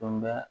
Kumaba